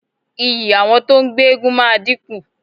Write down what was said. Iyì àwọn tó ń gbé eégún máa dínkù.